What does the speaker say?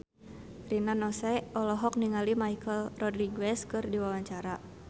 Rina Nose olohok ningali Michelle Rodriguez keur diwawancara